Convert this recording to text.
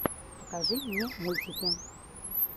покажи мне мультики